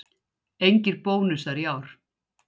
Engir bónusar í ár